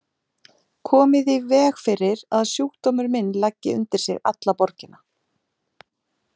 Komið í veg fyrir að sjúkdómur minn leggi undir sig alla borgina.